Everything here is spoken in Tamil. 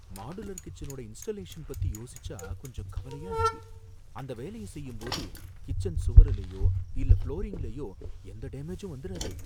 மாடுலர் கிச்சனோட இன்ஸ்டலேஷன பத்தி யோசிசா கொஞ்சம் கவலையா இருக்கு. அந்த வேலைய செய்யும்போது கிச்சன் சுவருலையோ இல்ல புளோரிங்லையோ எந்த டேமேஜும் வந்துராதே!